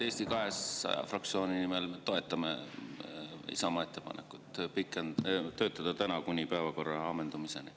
Eesti 200 fraktsiooni nimel: me toetame Isamaa ettepanekut töötada täna kuni päevakorra ammendumiseni.